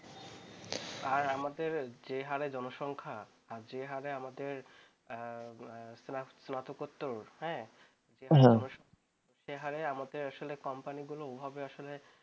আর আমাদের যে হারে জনসংখ্যা আর যে হারে আমাদের স্নাতকোত্তর হ্যাঁ হ্যাঁ সে হারে আমাদের আসলে company গুলো ওভাবে আসলে